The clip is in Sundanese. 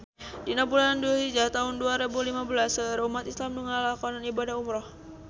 Dina bulan Dulhijah taun dua rebu lima belas seueur umat islam nu ngalakonan ibadah umrah